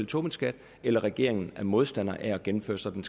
tobinskat eller regeringen er modstander af at gennemføre sådan